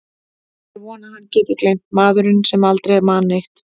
Það er von að hann geti gleymt, maðurinn sem aldrei man neitt.